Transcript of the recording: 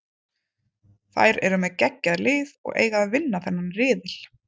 Þær eru með geggjað lið og eiga að vinna þennan riðil.